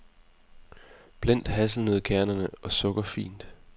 Blend hasselnøddekerner og sukker fint.